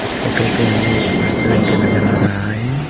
इस फोटो पे हमें एक रेस्टोरेंट का नजर आ रहा है।